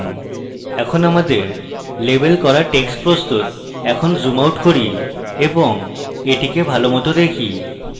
এখন আমাদের লেবেল করা text প্রস্তুত এখন zoom out করি এবং এটিকে ভালোমত দেখি